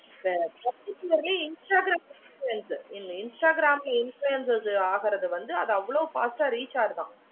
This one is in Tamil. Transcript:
அதான் சொல்ரேன் addict ஆகிடுறாங்க ஹம் instagram influencer இந்த instagram influencer ஆகுறது அது அவ்வளோ fast ஆஹ் reach ஆகுது